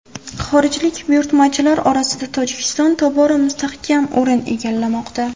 Xorijlik buyurtmachilar orasida Tojikiston tobora mustahkam o‘rin egallamoqda.